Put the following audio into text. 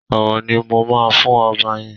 Ọ̀wọ̀ ni mo máa fún ọba yẹn.